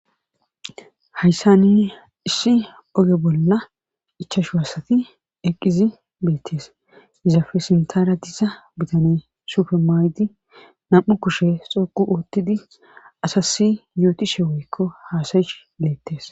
hayssa nini issi oge bolla ichashu waasati eqqizi beettes izafe sintara disa bitane sufermaydi nam7u kushe xoqu oottidi asasi yuutishe woykko haasayish leettes